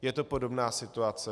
Je to podobná situace.